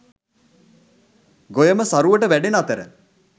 ගොයම සරුවට වැඩෙන අතර